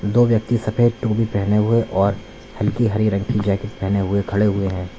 दो व्यक्ति सफेद टोपी पहने हुए और हल्की हरे रंग की जैकेट पहने हुए खड़े हुए हैं।